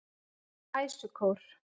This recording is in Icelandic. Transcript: Æsukór